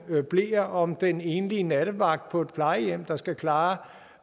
bleer om den enlige nattevagt på plejehjem der skal klare